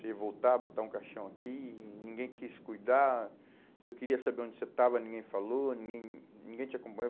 Se voltar, botar um caixão aqui, ninguém quis cuidar, eu queria saber onde você estava, ninguém falou, ninguém, ninguém te acompanhou.